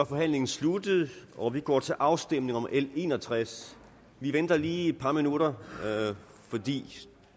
forhandlingen sluttet og vi går til afstemning om l en og tres vi venter lige et par minutter fordi